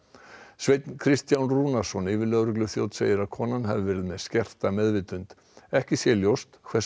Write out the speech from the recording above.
Sveinn Kristján Rúnarsson yfirlögregluþjónn segir að konan hafi verið með skerta meðvitund ekki sé ljóst hversu